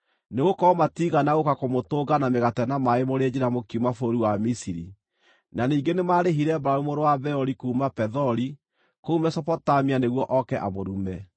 Nĩgũkorwo matiigana gũũka kũmũtũnga na mĩgate na maaĩ mũrĩ njĩra mũkiuma bũrũri wa Misiri, na ningĩ nĩmarĩhire Balamu mũrũ wa Beori kuuma Pethori kũu Mesopotamia nĩguo oke amũrume.